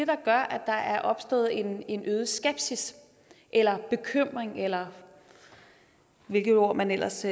der gør at der er opstået en en øget skepsis eller bekymring eller hvilket ord man ellers